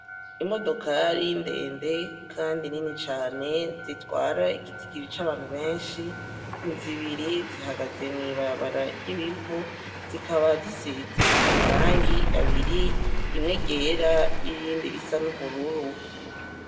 Imodokari ndende kandi Nini cane zitwara igitigiri c'abantu benshi, ni zibiri zihagazemw'ibarabara ry'ibivu, zikaba zisize amarangi abiri rimwe ryera nirindi risa n'ubururu.